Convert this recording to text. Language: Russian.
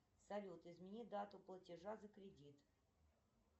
салют измени дату платежа за кредит